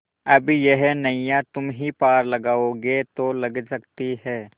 अब यह नैया तुम्ही पार लगाओगे तो लग सकती है